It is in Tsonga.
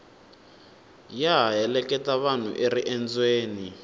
ya ha heleketa vanhu eriendzweni